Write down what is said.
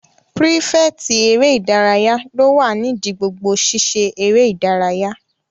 Pírífẹ̀tì eré ìdárayá ló wà nídi gbogbo sisé eré ìdárayá